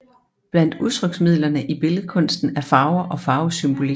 Blandt udtryksmidlerne i billedkunsten er farver og farvesymbolik